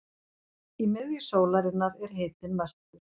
í miðju sólarinnar er hitinn mestur